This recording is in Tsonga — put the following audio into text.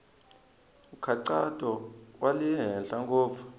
nkhaqato wa le henhla ngopfu